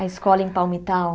A escola em Palmitau?